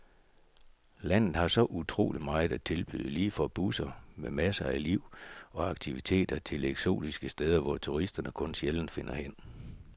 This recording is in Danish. Landet har så utroligt meget at tilbyde, lige fra byer med masser af liv og aktiviteter, til eksotiske steder, hvor turisterne kun sjældent finder hen.